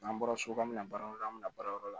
N'an bɔra so an bɛna baara yɔrɔ la an bɛna baara yɔrɔ la